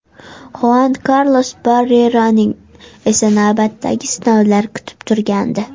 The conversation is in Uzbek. Xuan Karlos Barrerani esa navbatdagi sinovlar kutib turgandi.